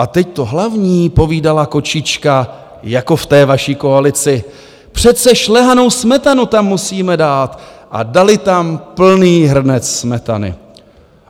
A teď to hlavní, povídala kočička, jako v té vaší koalici, přece šlehanou smetanu tam musíme dát a dali tam plný hrnec smetany.